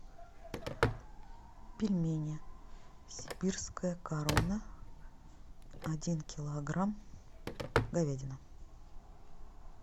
пельмени сибирская корона один килограмм говядина